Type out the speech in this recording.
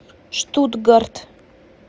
штутгарт